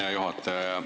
Hea juhataja!